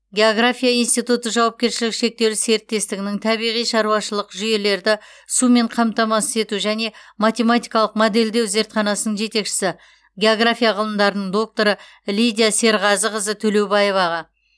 география институты жауапкершілігі шектеулі серіктестігінің табиғи шаруашылық жүйелерді сумен қамтамасыз ету және математикалық модельдеу зертханасының жетекшісі география ғылымдарының докторы лидия серғазықызы төлеубаеваға